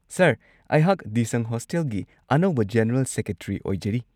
Sir, ꯑꯩꯍꯥꯛ ꯗꯤꯁꯪ ꯍꯣꯁꯇꯦꯜꯒꯤ ꯑꯅꯧꯕ ꯖꯦꯅꯔꯦꯜ ꯁꯦꯀ꯭ꯔꯦꯇꯔꯤ ꯑꯣꯏꯖꯔꯤ꯫